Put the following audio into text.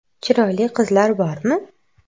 Chiroyli qizlar bormi?